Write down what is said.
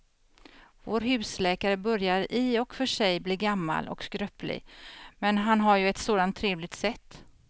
Vår husläkare börjar i och för sig bli gammal och skröplig, men han har ju ett sådant trevligt sätt!